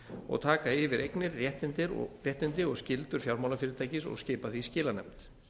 og taka yfir eignir réttindi og skyldur fjármálafyrirtækis skipa því skilanefnd